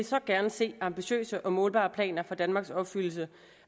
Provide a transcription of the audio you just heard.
så gerne se ambitiøse og målbare planer for danmarks opfyldelse